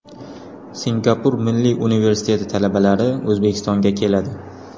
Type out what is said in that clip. Singapur Milliy universiteti talabalari O‘zbekistonga keladi.